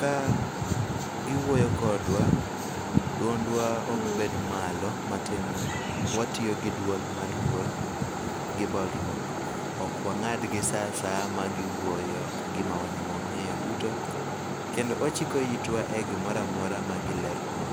Ka giwuoyo kodwa, dwondwa ok bed malo. Matiende ni watiyo gi dwol mar luor gi bolruok. Ok wang'adgi sa asaya ma giwuoyo ka gima wan e ma wang'eyo duto. Kendo wachiko itwa e gimoro amora magileronwa.